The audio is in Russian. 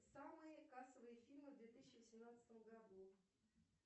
самые кассовые фильмы в две тысячи восемнадцатом году